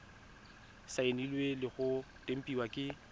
saenilwe le go tempiwa ke